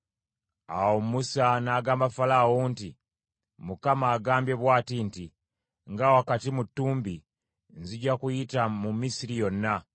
Awo Musa n’agamba Falaawo nti, “ Mukama agambye bw’ati nti, ‘Nga wakati mu ttumbi, nzija kuyita mu Misiri yonna.